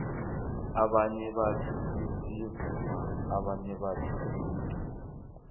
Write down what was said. abanye bathi siyavuma abanye bathi siyabhina